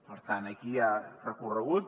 per tant aquí hi ha recorregut